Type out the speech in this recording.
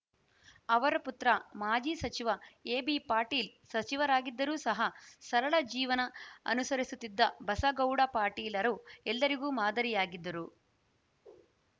ಅವರ ಪುತ್ರ ಮಾಜಿ ಸಚಿವ ಎಬಿಪಾಟೀಲ ಸಚಿವರಾಗಿದ್ದರೂ ಸಹ ಸರಳ ಜೀವನ ಅನುಸರಿಸುತ್ತಿದ್ದ ಬಸಗೌಡ ಪಾಟೀಲರು ಎಲ್ಲರಿಗೂ ಮಾದರಿಯಾಗಿದ್ದರು